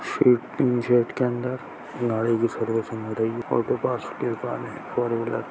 एक तीन सेट के अंदर